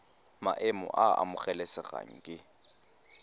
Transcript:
maemo a a amogelesegang ke